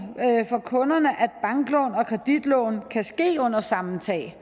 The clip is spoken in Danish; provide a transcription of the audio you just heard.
for kunderne at banklån og kreditlån kan ske under samme tag